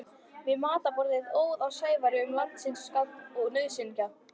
Við matarborðið óð á Sævari um landsins gagn og nauðsynjar.